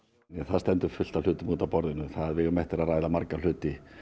það stendur fullt af hlutum út af borðinu við eigum eftir að ræða marga hluti